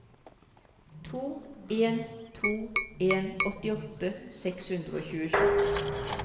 to en to en åttiåtte seks hundre og tjuesju